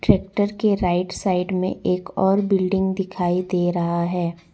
Tractor के right side में एक और बिल्डिंग दिखाई दे रहा है।